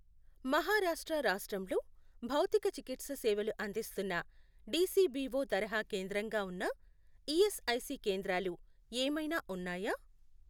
మహారాష్ట్ర రాష్ట్రంలో భౌతికచికిత్ససేవలు అందిస్తున్న డిసిబిఓ తరహా కేంద్రంగా ఉన్న ఈఎస్ఐసి కేంద్రాలు ఏమైనా ఉన్నాయా?